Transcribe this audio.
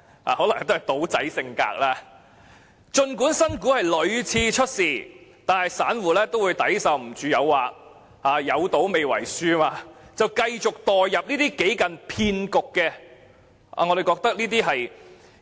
這可能是"賭仔"性格，因此儘管新股屢次出事，但散戶都會抵受不住誘惑，在"有賭未為輸"之下繼續墮入這些幾近騙局